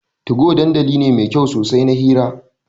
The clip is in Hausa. Tugo dandali ne mai kyau sosai na hira.